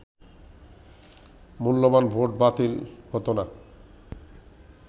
মূল্যবান ভোট বাতিল হত না